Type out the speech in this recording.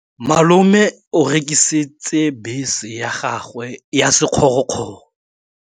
Malome o rekisitse bese ya gagwe ya sekgorokgoro.